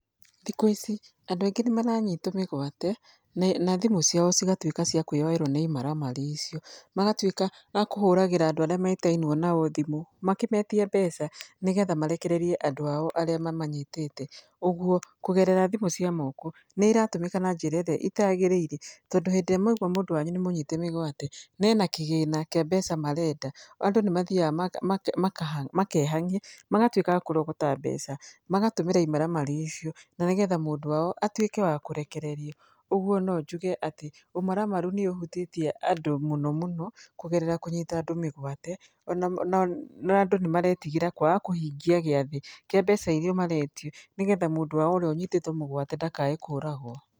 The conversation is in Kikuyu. Thikũ ici, andũ aingĩ nĩ maranyitwo mĩgwate, na thimũ ciao cigatuĩka nĩ kwĩyoerwo nĩ imaramari icio. Magatuĩka a kũhũragĩra andũ arĩa metainwo nao thimũ, makĩmetia mbeca nĩgetha marekererie andũ ao arĩa mamanyitĩte. Ũguo, kũgerera thimũ cia moko, nĩ iratũmĩka na njĩrairĩa itagĩrĩire. Tondũ hĩndĩ ĩrĩa mwaigua mũndũ wanyu nĩ mũnyite mĩgwate, na ena kĩgĩna kĩrĩa marenda, andũ nĩ mathiaga makehang'ia, magatuĩka a kũrogota mbeca, magatũmĩra imaramari icio, na nĩgetha mũndũ wao atuĩke wa kũrekererio. Ũguo no njuge, ũmaramaru nĩ ũhutĩtie andũ mũno, kũgerera kũnyita andũ mĩgwate, na andũ nĩ maretigira kwaga kũhingia gĩathĩ kĩa mbeca irĩa maretio nĩgetha mũndũ wao ũrĩa ũnyitĩtwo mĩgwate ndakae kũragwo.